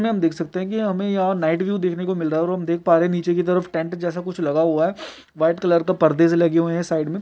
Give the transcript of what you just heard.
यहाँ आप देख सकते है की हमे यह नाईट व्यू देखने को मिल रहा है और हम देख प् रहे है नीचे की तरफ टेंट जैसा लगा हुआ है वाइट कलर का पर्दे से लगे हुएहै साइड में।